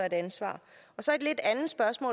et ansvar